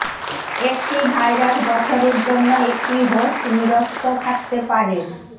একটি ভাইরাস বছরের জন্য একটি হোস্ট নিরস্ত থাকতে পারে